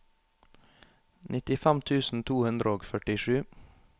nittifem tusen to hundre og førtisju